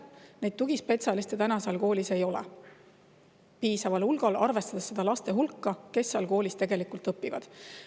Neid tugispetsialiste täna seal koolis ei ole piisaval hulgal, arvestades laste hulka, kes seal koolis õpivad.